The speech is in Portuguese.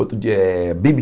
Outro dia é Bi.Bi.